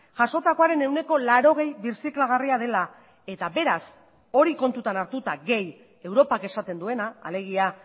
jasotakoaren ehuneko laurogei birziklagarria dela eta beraz hori kontutan hartuta gehi europak esaten duena alegia